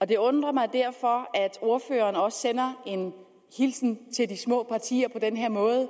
det undrer mig derfor at ordføreren også sender en hilsen til de små partier på den her måde